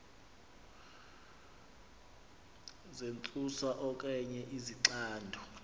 zentsusa okanye izixando